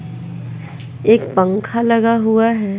एक पंखा लगा हुआ है।